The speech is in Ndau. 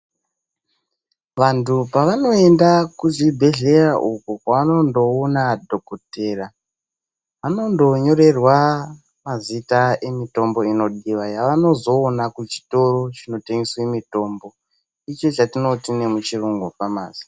Vantu pavanoenda kuzvibhedhlera uko kwavanondoona dhokodheya. Vanondonyorerwa mazita emitombo inodiwa yavanozoona muchitoro chinotengeswe mitombo, icho chatinoti nemuchiyungu famasi.